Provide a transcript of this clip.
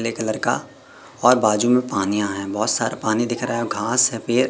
पीले कलर का और बाजू में पानी आया है बहोत सारा पानी दिख रहा है घांस है फिर--